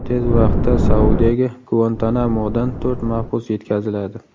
Tez vaqtda Saudiyaga Guantanamodan to‘rt mahbus yetkaziladi.